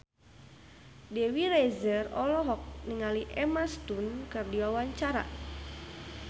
Dewi Rezer olohok ningali Emma Stone keur diwawancara